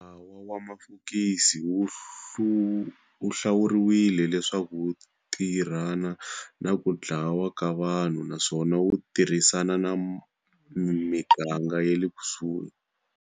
Ntlawa wa mafokisi wu hlawuriwile leswaku wu tirhana na ku dlawa ka vanhu naswona wu tirhisana na miganga yale kusuhi.